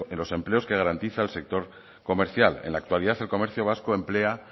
los empleos que garantiza el sector comercial en la actualidad el comercio vasco emplea